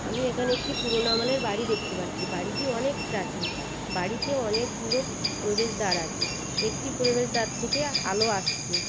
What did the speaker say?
আমি এখানে একটি পুরোনো আমলের বাড়ি দেখতে পাচ্ছি বাড়িটি অনেক প্রাচীন বাড়িতে অনেকগুলো প্রবেশ দ্বার আছে একটি প্রবেশ দ্বার থেকে আলো আসছে।